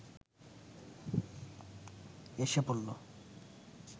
এসে পড়ল